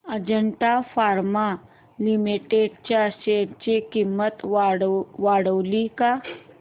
Ajanta pharma limited च्या share ची किंमत वाढली का